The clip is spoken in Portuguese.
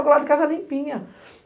Agua lá de casa limpinha.